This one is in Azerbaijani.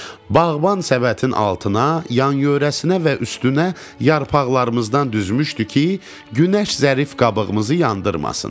Bağban səbətin altına, yan-yörəsinə və üstünə yarpaqlarımızdan düzmüşdü ki, günəş zərif qabığımızı yandırmasın.